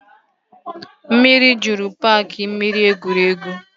Mmiri jụrụ paaki mmiri egwuregwu